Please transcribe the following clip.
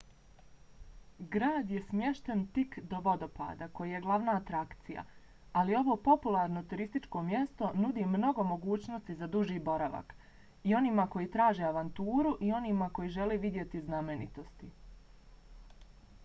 grad je smješten tik do vodopada koji je glavna atrakcija ali ovo popularno turističko mjesto nudi mnogo mogućnosti za duži boravak i onima koji traže avanturu i onima koji žele vidjeti znamenitosti